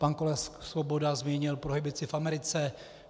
Pan kolega Svoboda zmínil prohibici v Americe.